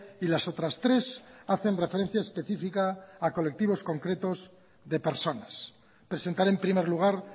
y las otras tres hacen referencia específica a colectivos concretos de personas presentaré en primer lugar